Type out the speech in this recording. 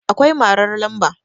akwai marar lamba